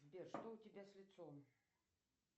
сбер что у тебя с лицом